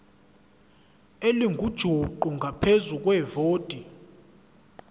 elingujuqu ngaphezu kwevoti